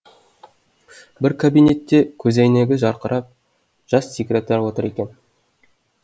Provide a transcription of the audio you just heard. бір кабинетте көзәйнегі жарқырап жас секретарь отыр екен